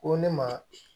Ko ne ma